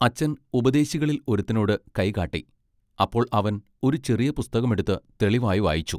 അച്ചൻ ഉപദേശികളിൽ ഒരുത്തനോട് കൈകാട്ടി അപ്പോൾ അവൻ ഒരു ചെറിയ പുസ്തകം എടുത്ത് തെളിവായി വായിച്ചു.